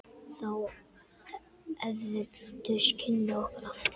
Þá efldust kynni okkar aftur.